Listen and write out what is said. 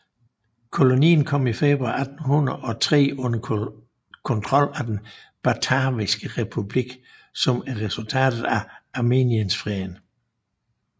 Kolonien kom i februar 1803 under kontrol af den Bataviske Republik som et resultat af Amiensfreden